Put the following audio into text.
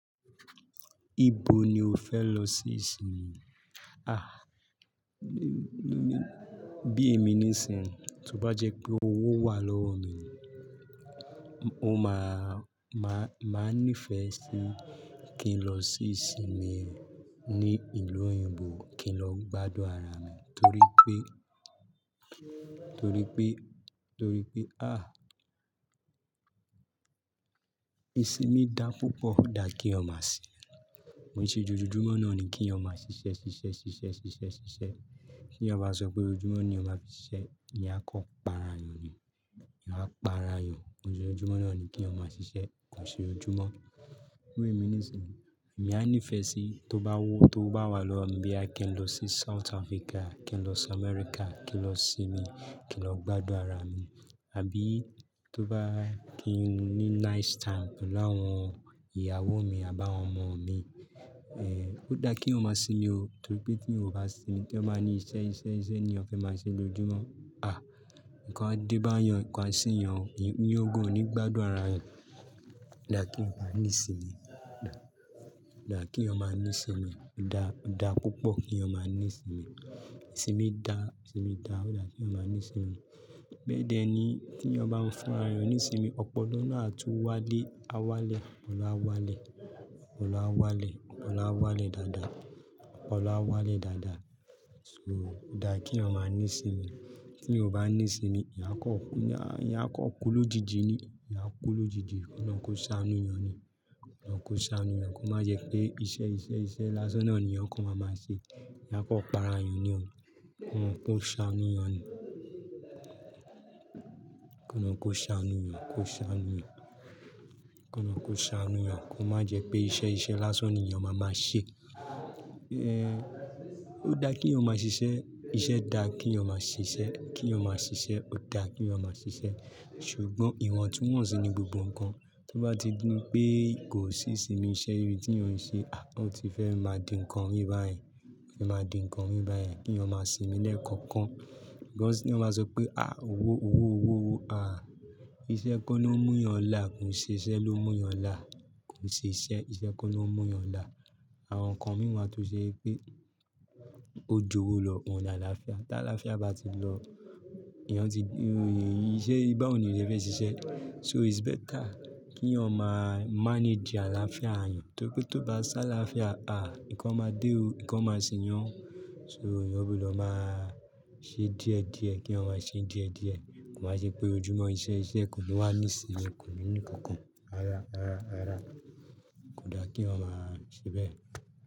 Ibo ni o fẹ lọ sí ìsinmi? Ah, bí èmi ní sinmi, tó bá jẹ́ pé owó wà lọ́wọ́ mi, mo máa, máa nífẹ̀ẹ́ sí kí n lọ sí ìsinmi ní ìlú òyìnbó, kí n lọ gbádùn ara mi. Torí pé, torí pé, torí pé, ah, ìsinmi dá púpọ̀, da kí yan mà ṣe. Kò ń ṣe ojoojúmọ́ náà ni kí yan mà ṣe iṣẹ́, ṣe iṣẹ́, ṣe iṣẹ́, ṣe iṣẹ́, ṣe iṣẹ́. Kí èyàn bà sọ pé ojoojúmọ́ ni yan mà fi ṣe iṣẹ́, ìyá kò para ẹni, ìyá kò para ẹni. Ojoojúmọ́ náà ni kí ọmọ ṣe iṣẹ́, kò ṣe ojoojúmọ́. Bí èmi ní sinmi, èmi á nífẹ̀ẹ́ sí tó bá wo, tó owó bá wà lọ́mi bóyá kí n lọ sí South Africa, kí n lọ sí America, kí n lọ sinmi, kí n lọ gbádùn ara mi. Àbí tó bá, kìn ni nice time pẹ̀lú àwọn ìyàwó mi àbí àwọn ọmọ mi ẹ̀, ó dá kí èyàn máa sinmi o, torí pé tí èyàn ò bá sinmi, tí èyàn bá ní iṣẹ́, iṣẹ́, iṣẹ́ ni èyàn fẹ́ máa ṣe lójoojúmọ́. Ah, nǹkan á dé bá èyàn, nǹkan á ṣe èyàn, èyàn gan nígbà dùn ara rẹ ó dá kí èyàn máa ní ìsinmi. Odá kí èyàn má ní ìsinmi. Odá, odá púpọ̀ kí èyàn máa ní sinmi. Ìsinmi dá, ìsinmi dá, ó dá kí èyàn máa ní ìsinmi. Bẹ́ẹ̀ dẹ̀ ni yìí, tí èyàn bá ń fúnra èyàn ní ìsinmi ọpọlọ náà á tún wálẹ̀, a wá lẹ̀, ọpọlọ á wá lẹ̀, ọpọlọ á wálẹ̀, ọpọlọ á wá lẹ̀ dáadá, ọpọlọ áwálẹ̀ dáadá. So, ó dá kí èyàn máa ní ìsinmi. Tí èyàn ò bá ní ìsinmi, èyàn a kò kú, èyàn a kò kú lójijì ni, èyàn a kú lójijì, Ọlọ́run kò sànú èyàn ni, kò Ọlọ́run sànú èyàn, kò má jẹ́ pé iṣẹ́, iṣẹ́, iṣẹ́ lásán náà ni èyàn kọ máa máa ṣe. Èyàn a kò para èyàn ni o, kò Ọlọ́run kò ṣánù èyàn ni, kò lorun kò sa anu èyàn. Kò Ọlọ́run kò sàánú èyàn ni. Kò má jẹ́ pé iṣẹ́, iṣẹ́ lásán ni èyàn máa máa ṣe. Ẹ̀hn, ó dá kí èyàn máa ṣe iṣẹ́, iṣẹ́ dá kí èyàn máa ṣe iṣẹ́, kí èyàn máa ṣe iṣẹ́, ó dá kí eyaj ṣe iṣẹ́. Ṣùgbọ́n ìwọ̀ntúnwọ̀nsì ni gbogbo ǹkan. Tó bá ti di pé kò sí ìsinmi iṣẹ́ irú tí èyàn ń ṣe, ah, ó ti fẹ́ máa di ǹkan mi bá yẹn, ó ti fẹ́ máa di ǹkan mi bá yẹn, kí èyàn má sinmi lẹ́ẹ̀kan kan. Because tí èyàn bá sọ pé, ah, owó, owó, owó, owó, ah, iṣẹ́ kọ́ ló mú èyàn là, kò ń ṣe iṣẹ́ ló mú èyàn là, kò ń ṣe iṣẹ́, iṣẹ́ kọ́ ló mú èyàn là. Àwọn ǹkan mìí wa tó ṣe pé ó ju owó lọ, òun ni àlàáfíà. Tí àlàáfíà bá ti lọ, èyàn tí di, ìṣe bá wo ni èyàn ṣe fẹ́ ṣiṣẹ́. So its better kí èyàn máa manage àláfíà èyàn, torí pé tí ó bá sí àláfíàa ahh ǹkan máa dé o ǹkan máa ṣe èyàn, èyàn gbọdọ̀ máa ṣe díẹ̀ díẹ̀, kí èyàn má ae díẹ̀ díẹ̀. Kò ń wá ṣe pé ojoojúmọ́ iṣẹ́, iṣẹ́ kò ní wà ní ìsinmi, kò ní ní ǹnkan kan. Rárá rárá rárá. Kò dá kí èyàn máa ṣe bẹ́ẹ̀.